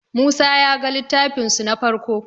musa ya ga littafin su na farko